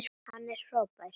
Hann er frábær.